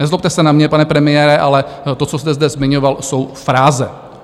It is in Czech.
Nezlobte se na mě, pane premiére, ale to, co jste zde zmiňoval, jsou fráze.